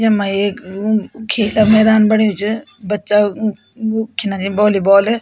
यमा एक उ खेता मैदान बण्यु च बच्चा वू-वू खीना छी वोल्ली बॉल ।